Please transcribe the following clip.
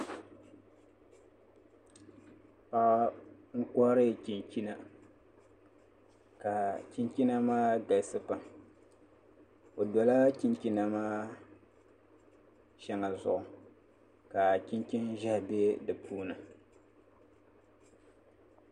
Paɣa n kohari chinchina ka chinchina maa galisi pam o dola chinchina maa shɛŋa zuɣu ka chinchin ʒiɛhi bɛ di puuni